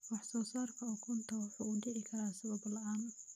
Wax-soo-saarka ukunta wuxuu u dhici karaa sabab la'aan.